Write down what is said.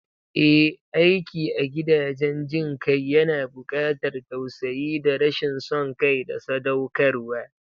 Ehh, aiki a gidajen jin kai yana bukatar tausayi da rashin son kai da sadaukarwa